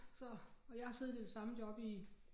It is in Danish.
Så og jeg har siddet i det samme job i